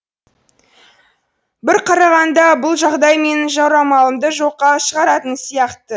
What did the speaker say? бір қарағанда бұл жағдай менің жорамалымды жоққа шығаратын сияқты